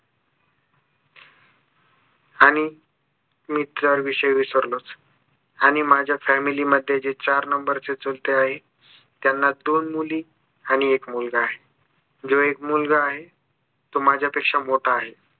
आणि मी तर या विषयी विसरलोच आणि माझ्या family मध्ये जे चार number चे चुलते आहे त्यांना दोन मुली आणि एक मुलगा आहे जो एक मुलगा आहे तो माझ्यापेक्षा मोठा आहे